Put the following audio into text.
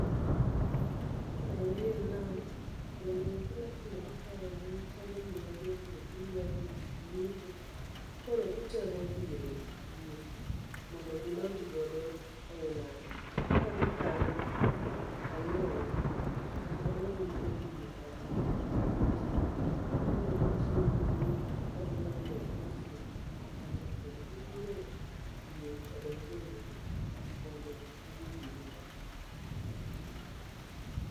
Ma endi en nam, kendo gima timore ka en ni chalo gima jogi eki dwa dhi lupo, koro gitemo dhiro yie. Mondo gidonj godo ei nam, ka gikalo anyuongi. Nikech anyuongi odino kama gikete yie, koro gitiyo gi nguvu ka gimanyore gi osiepe gi moko mondo konygi dhiro yie odonje i nam mondo gidhi gilupi.